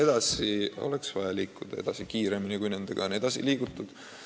Ja on vaja liikuda edasi kiiremini, kui seni on liigutud.